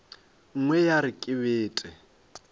nngwe ya re ke bete